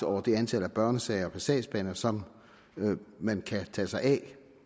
over det antal børnesager per sagsbehandler som man kan tage sig af